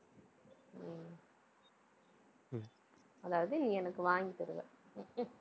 அதாவது, நீ எனக்கு வாங்கி தருவ.